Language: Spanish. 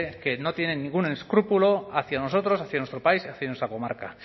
que no tiene ningún escrúpulo hacia nosotros hacia nuestro país hacia nuestra comarca